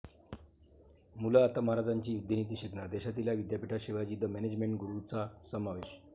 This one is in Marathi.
मुलं आता महाराजांची युद्धनीती शिकणार, देशातील या विद्यापीठात शिवाजी द मॅनेजमेंट गुरू चा समावेश